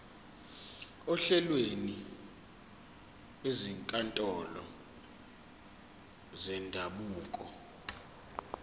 ohlelweni lwezinkantolo zendabuko